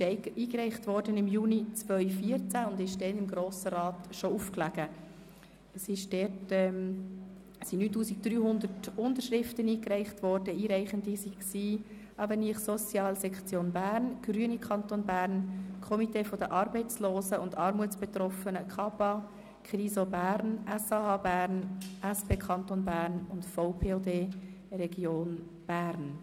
…]» wurde im Juni 2014 eingereicht, sie lag damals bereits im Grossen Rat auf und wurde mit 9300 Unterschriften eingereicht und zwar von AvenirSocial, Sektion Bern, den Grünen Kanton Bern, dem Komitee der Arbeitslosen und Armutsbetroffenen (KABBA), der KRISO Bern, dem SAH Bern, der SP Kanton Bern und dem VPOD Region Bern.